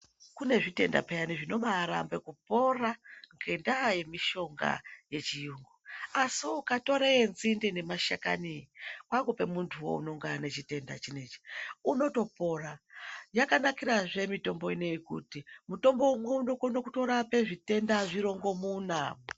Kunezvitenda peyani zvinobarambe kupora ngendaa yemushonga wechiyungu asi ukatora wenzinde nemashakani kwakupe muntu wo unenge anechitenda chinechi unotopora yakanakira zve mitombo inei kuti mutombo umwe unokona kutorape zvitenda zvirongomuna.